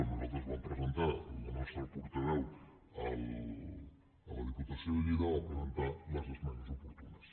nosaltres vam presentar la nostra portaveu a la diputació de lleida va presentar les esmenes oportunes